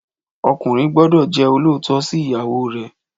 Ọkùnrin gbọ́dọ̀ jẹ́ olóòótọ́ sí ìyàwó rè